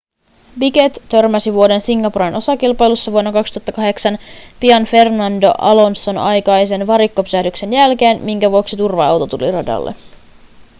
piquet törmäsi vuoden singaporen osakilpailussa vuonna 2008 pian fernando alonson aikaisen varikkopysähdyksen jälkeen minkä vuoksi turva-auto tuli radalle